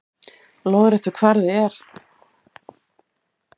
Lóðréttur kvarði er